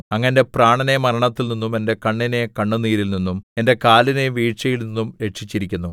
അങ്ങ് എന്റെ പ്രാണനെ മരണത്തിൽനിന്നും എന്റെ കണ്ണിനെ കണ്ണുനീരിൽനിന്നും എന്റെ കാലിനെ വീഴ്ചയിൽനിന്നും രക്ഷിച്ചിരിക്കുന്നു